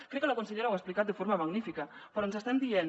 crec que la consellera ho ha explicat de forma magnífica però ens estan dient